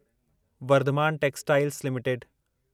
Varthaman textiles limited